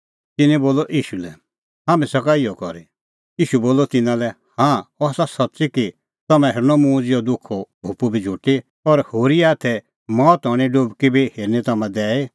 तिन्नैं ईशू लै बोलअ हाम्हैं सका इहअ करी ईशू बोलअ तिन्नां लै हाँ अह आसा सच्च़ी कि तम्हां हेरनी मुंह ज़िहअ दुखो कटोरअ बी झुटी और होरीए हाथै मौत हणें डुबकी बी हेरनी तम्हां दैई